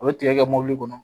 U bɛ tigɛ mɔbili kɔnɔ